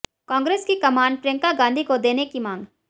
कांग्रेस की कमान प्रियंका गांधी को देने की मांग